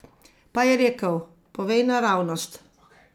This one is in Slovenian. Pa je rekel: "Povej naravnost.